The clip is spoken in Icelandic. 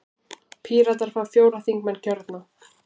Píratar fá fjóra þingmenn kjörna.